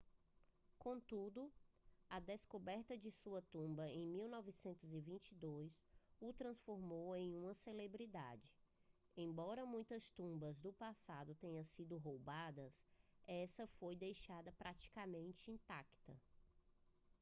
contudo a descoberta de sua tumba em 1922 o transformou em uma celebridade embora muitas tumbas do passado tenham sido roubadas esta foi deixada praticamente intacta